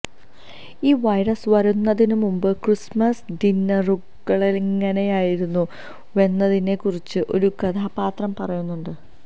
ഈ വൈറസ് വരുന്നതിന് മുമ്പ് ക്രിസ്മസ് ഡിന്നറുകളെങ്ങനെയായിരുന്നുവെന്നതിനെ കുറിച്ച് ഒരു കഥാപാത്രം പറയുന്നുണ്ട്